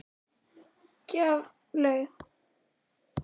Gjaflaug, hvar er dótið mitt?